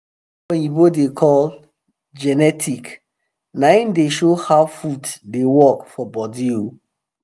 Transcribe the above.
watin oyibo da call genetic na him da show how food da work for body ooo